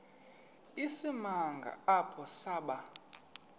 isimanga apho saba